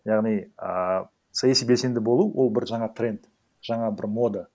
яғни ыыы саяси белсенді болу ол бір жаңа тренд жаңа бір мода